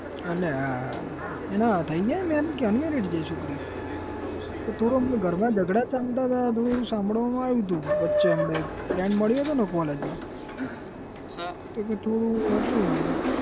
અલ્યા હા હા એના થઇ ગયા marriage કે unmaried છે એ છોકરી કઈક થોડું એમના ઘરમાં જગડા ચાલતા હતા એવું સાંભળવામાં આવ્યું હતું વચ્ચે હમણાં એક friend મળ્યો હતો ને college માં તો કે થોડુંક હતું.